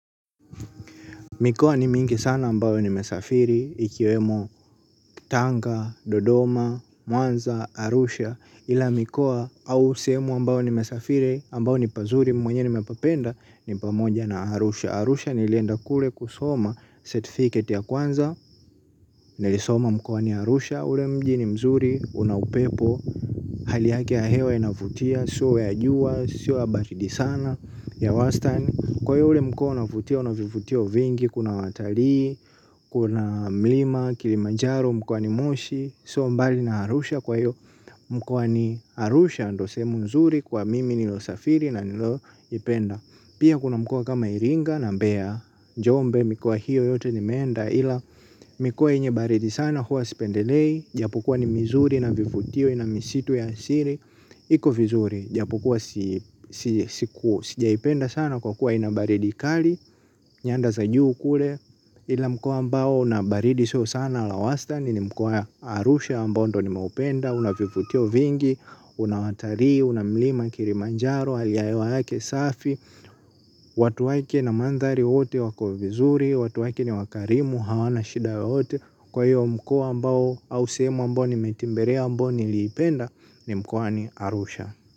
Mikoa ni mingi sana ambayo ni mesafiri ikiwemo tanga, dodoma, mwanza, arusha. Ila mioua au sehemu ambayo ni mesafiri ambayo ni pazuri mimi mwenyewe nimepapenda ni pamoja na arusha. Arusha nilienda kule kusoma certificate ya kwanza nilisoma mkoani arusha ule mji ni mzuri una upepo. Hali yaki ya hewa inavutia, sio ya juwa, sio ya baridi sana ya wastani. Kwa hiyo ule mkoa unavutia una vivutio vingi, kuna watalii, kuna mlima, kilimanjaro, mkoani moshi. Sio mbali na arusha kwa hiyo, mkoani arusha ndo sehemu mzuri kwa mimi nililo safiri na nilio ipenda. Pia kuna mkoa kama iringa na mbea, jombe mikoa hiyo yote nimeenda ila mikoa yenye baridi sana huwa sipendelei, japokuwa ni mizuri ina vivutio ina misitu ya asili. Iko vizuri, japokuwa sijaipenda sana kwa kuwa inabaridi kali, nyanda za juu kule, ila mkoa ambao unabaridi sio sana la wastani ni mkoa arusha ambao ndio ni maupenda, unavivutio vingi, unawataliii, unamlima kilimanjaro, hali ya hewa yake safi, watu wake na mandhari wote wako vizuri, watu wake ni wakarimu, hawana shida yoyote. Kwa hiyo mkoa ambao au sehemu ambao ni meitemberlea ambao ni liipenda ni mkoani arusha.